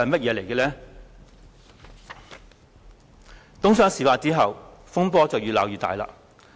在東窗事發後，風波越鬧越大。